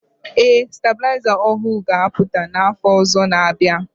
Ee STABỤLỊZA ỌHỤỤ GA APỤTA NA AFỌ ỌZỌ NA- ABỊA